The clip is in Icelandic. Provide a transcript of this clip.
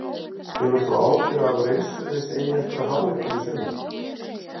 Hefur þú áhyggjur af því að reynsluleysi eigi eftir að há ykkur í sumar?